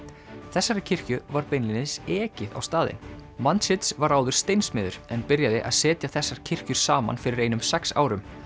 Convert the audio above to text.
þessari kirkju var beinlínis ekið á staðinn var áður steinsmiður en byrjaði að setja þessar kirkjur saman fyrir einum sex árum